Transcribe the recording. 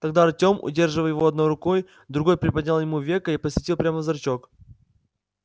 тогда артём удерживая его одной рукой другой приподнял ему веко и посветил прямо в зрачок